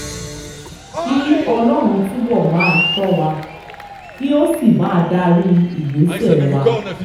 kí ọlọ́run túbọ̀ máa ṣọ́ wa kí ó sì máa darí ìgbésẹ̀ wa